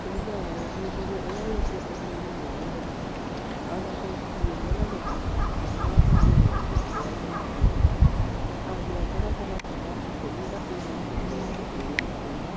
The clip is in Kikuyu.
Kũringana na ũthuthuria ĩrĩa wĩkĩtwo bũrũri-inĩ wa ngeretha , anake ngiri ĩmwe na magana mana ma mĩrongo mũgwanja na kenda a mĩaka gatagatĩ ka ikũmi na ĩna na mĩrongo ĩrĩ na inya